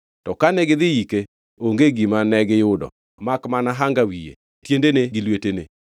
To kane gidhi yike onge gima negiyudo makmana hanga wiye, tiendene gi lwetene.